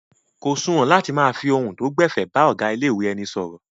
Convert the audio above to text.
Kò suwọ̀n láti máa fi ohun tó gbẹ̀fẹ̀ bá ọ̀gá ilé-ìwé ẹni sọ̀rọ̀.